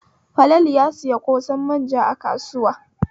Falalu ya sayi ƙosan manja a kasuwa.